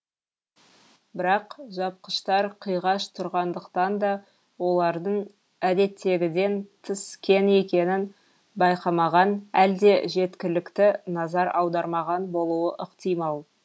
бірақ жапқыштар қиғаш тұрғандықтан да олардың әдеттегіден тыс кең екенін байқамаған әлде жеткілікті назар аудармаған болуы ықтимал